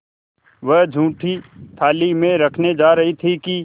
वह जूठी थाली में रखने जा रही थी कि